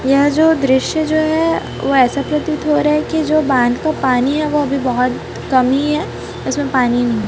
यह जो दृश्य जो है वह ऐसा प्रतीत हो रहा है कि जो बांध का पानी है वह भी बहोत कम ही है इसमें पानी नहीं --